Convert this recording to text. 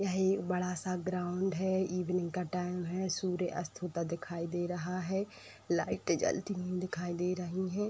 यह एक बड़ा सा ग्राउंड है इवनिंग का टाइम है सूर्य अस्त होता दिखाई दे रहा है लाइटें जलते हुए दिखाई दे रही है।